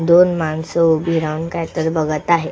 दोन माणस उभी राहून काय तर बघत आहे.